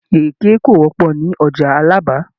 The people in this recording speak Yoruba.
Ìrèké kò wọ́pọ̀ ní ọjà Alábà